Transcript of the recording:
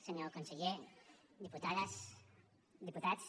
senyor conseller diputades diputats